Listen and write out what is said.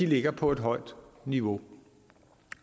ligger på et højt niveau